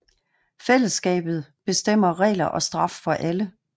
Fællesskabet bestemmer regler og straf for alle